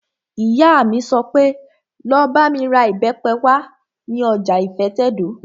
Ìyá mi sọ pé, 'Lọ bá mi ra ìbẹ́pẹ wá ní ọjà ìfẹ́tẹ̀dó!